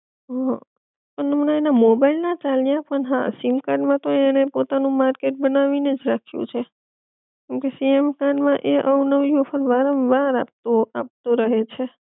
હઅ પણ હમણાં એના મોબાઈલ ના ચાલ્યા પણ હા સીમકાર્ડ માં તો એણે પોતાનું માર્કેટ બનાવી ને જ રાખ્યું છે, કેમકે સીમકાર્ડ માં એ અવનવી ઓફર વારંવાર આપતુવ આપતું રહે છે